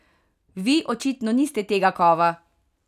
Vi očitno niste tega kova!